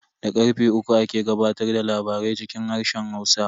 Da karfe uku ake gabatar da labarai cikin harshen Hausa.